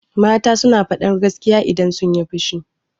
Mata suna faɗar gaskiya idan sunyi fushi.